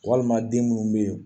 Walima den minnu bɛ yen